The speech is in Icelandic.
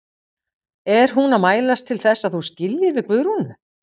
Er hún að mælast til þess að þú skiljir við Guðrúnu?